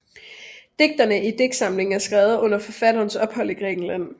Digtene i digtsamlingen er skrevet under forfatterens ophold i Grækenland